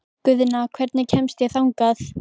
Guðna, hvernig kemst ég þangað?